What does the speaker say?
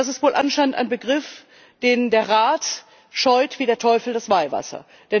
Das ist wohl anscheinend ein Begriff, den der Rat scheut wie der Teufel das Weihwasser.